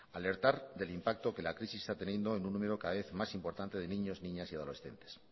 alertar del impacto que la crisis está teniendo en un número cada vez más importante de niños niñas y adolescentes